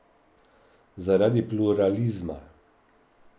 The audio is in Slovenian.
Zaradi pluralizma.